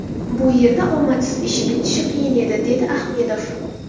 Bu yerda omadsiz ish bitishi qiyin edi”, dedi Ahmedov.